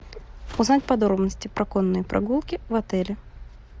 узнать подробности про конные прогулки в отеле